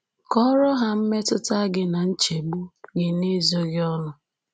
Kọọrọ ha mmetụta gị na nchegbu gị n’ezoghị ọnụ